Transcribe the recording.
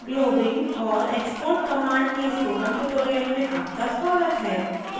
globbing और export command के spoken tutorial में आपका स्वागत है